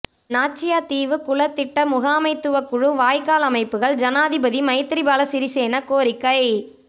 நாச்சியா தீவு குள திட்ட முகாமைத்துவக்குழு வாய்க்கால் அமைப்புக்கள் ஜனாதிபதி மைத்திரி பால சிறிசேன கோரிக்கை